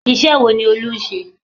Iṣẹ́ wo ni Olú ń ṣe?